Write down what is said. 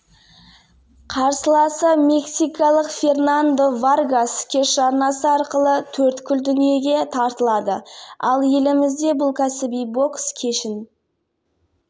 жалпы жылға дейін облыста жоба іске асырылмақ көкшетаудағы басқосуда алға қойылған мақсаттарға жету жолдары талқыланды сондай-ақ оқушылар мен жастарға дұрыс тәрбие